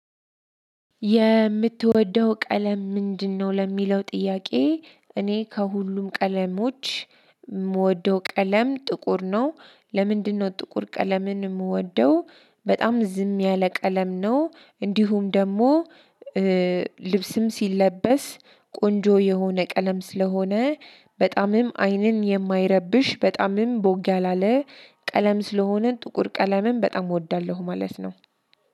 የምትወደው ቀለም ምንድነው? ለሚለው ጥያቄ እኔ ከሁሉም ቀለሞች የምወደው ቀለም ጥቁር ነው። ለምንድነው ጥቁር ቀለምን የምወደው? በጣም ዝም ያለ ቀለም ነው። እንዲሁም ደግሞ ልብስም ሲለበስ ቆንጆ የሆነ ቀለም ስለሆነ በጣምም አይንን የማይረብሽ በጣምም ቦግ ያላለ ቀለም ስለሆነ ጥቁር ቀለምን በጣም እወዳለሁ ማለት ነው።